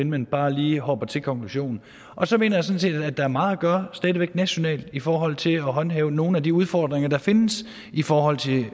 man bare lige hopper til konklusionen og så mener jeg sådan set at der er meget at gøre nationalt i forhold til at håndtere nogle af de udfordringer der findes i forhold til